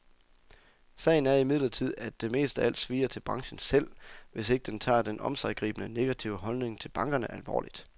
Sagen er imidlertid, at det mest af alt svier til branchen selv, hvis den ikke tager den omsiggribende, negative holdning til bankerne alvorligt.